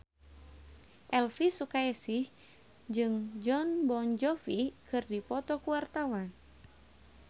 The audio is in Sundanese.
Elvy Sukaesih jeung Jon Bon Jovi keur dipoto ku wartawan